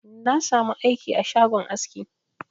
Na sa mu aiki a shagon aski